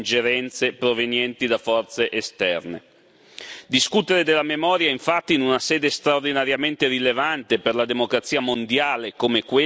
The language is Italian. Discutere della memoria, infatti, in una sede straordinariamente rilevante per la democrazia mondiale come questa vuole dire riflettere sulla sua attualità.